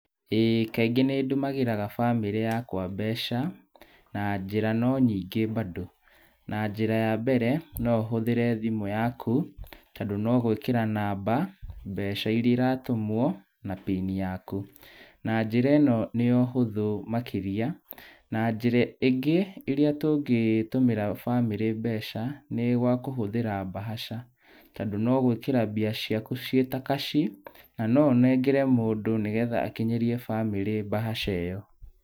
Ĩĩ kaingĩ nĩndũmĩraga bamĩrĩ yakwa mbeca na njĩra no nyingĩ bado. Na njĩra ya mbere no ũhũthĩre thimũ yaku tondũ no gwĩkĩra namba mbeca iria iratũmwo na pini yaku. Na njĩra ĩno nĩyo hũthũ makĩria. Na njĩra ĩngĩ tũngĩtũmĩra bamĩrĩ mbeca nĩ gwa kũhũthĩra mbahaca, tondũ no gwĩkĩra mbeca ciaku ciĩ ta kaci na no ũnengere mũndũ nĩgetha akinyĩrie bamĩrĩ mbahaca ĩyo.